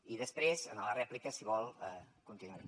i després en la rèplica si vol continuaré